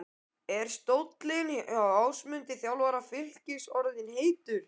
Er stóllinn hjá Ásmundi, þjálfara Fylkis orðinn heitur?